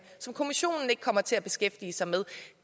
og kommissionen ikke kommer til at beskæftige sig med